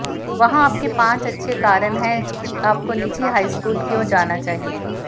वहां आपके पांच अच्छे कारण हैं कि आपको निजी हाईस्कूल क्यों जाना चाहिए